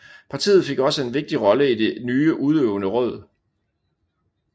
Partiet fik også en vigtig rolle i det nye udøvende råd